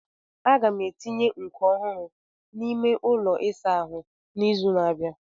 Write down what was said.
Aga m etinye nkọ ọhụrụ n'ime ụlọ ịsa ahu n'izu na-abịa.